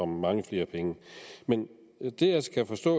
mange flere penge men det jeg skal forstå